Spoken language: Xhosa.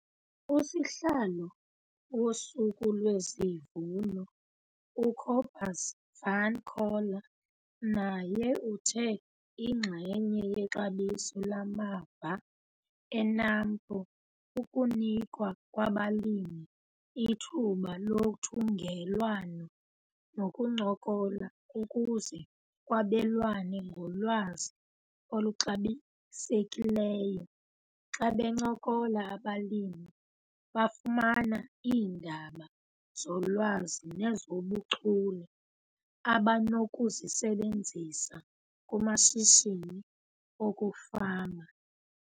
Usihlalo woSuku lwesiVuno uCobus van Coller naye uthe inxenye yexabiso lamava eNAMPO kukunikwa kwabalimi ithuba lothungelwano nokuncokola ukuze kwabelwane ngolwazi oluxabisekileyo. Xa bencokola abalimi bafumana iindaba zolwazi nezobuchule abanokuzisebenzsa kumashishini okufama.